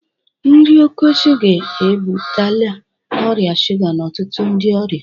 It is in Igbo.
Nri oke shuga ebutela ọrịa shuga n'ọtụtụ ndị ọrịa